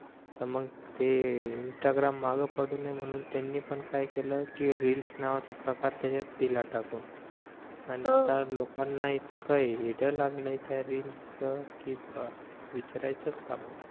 त मग ते इंस्टाग्राम मागे पडू नाही म्हणून त्यांनी पण काय केलं कि रील्स नावाचा प्रकार त्याच्यात दिला टाकून आणि आता लोकांना इतकं येडं लागलंय त्या रील्स च कि बस विचारायचं काम नाही